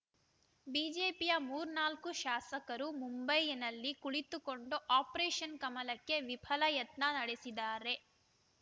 ಬಿಜೆಪಿಯ ಮೂರ್ನಾಲ್ಕು ಶಾಸಕರು ಮುಂಬೈನಲ್ಲಿ ಕುಳಿತುಕೊಂಡು ಆಪರೇಷನ್‌ ಕಮಲಕ್ಕೆ ವಿಫಲ ಯತ್ನ ನಡೆಸಿದ್ದಾರೆ